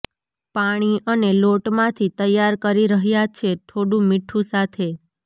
પાણી અને લોટ માંથી તૈયાર કરી રહ્યા છે થોડું મીઠું સાથે